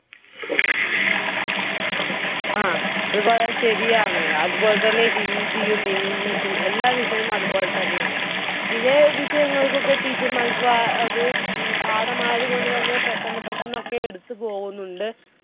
ങ്ഹാ അത് വളരെ ശരിയാണ്. അതുപോലെതന്നെ hindi ഉം english ഉം എല്ലാ വിഷയവും അതുപോലെതന്നെയാണ്. ചിലെ വിഷയങ്ങൾക്കൊക്കെ teacher മാർക്ക് പാഠമായത് കൊണ്ടുതന്നെ പെട്ടന്ന് പെട്ടന്നൊക്കെ എടുത്തുപോകുന്നുണ്ട്.